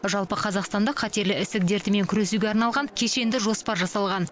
жалпы қазақстанда қатерлі ісік дертімен күресуге арналған кешенді жоспар жасалған